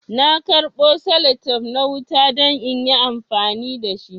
Na karbo salatep na wuta don inyi amfani dashi